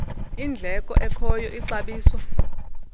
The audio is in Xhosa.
indleko ekhoyo ixabiso